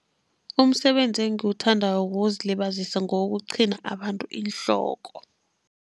Umsebenzi engiwuthandako wokuzilibazisa ngewokuqhina abantu iinhloko.